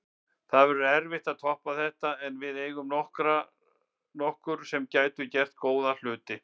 Það verður erfitt að toppa þetta en við eigum nokkur sem gætu gert góða hluti.